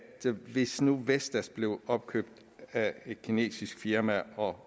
hvis nu vestas bliver opkøbt af et kinesisk firma og